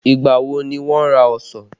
Ìgbà wo ni wà ra ọsàn?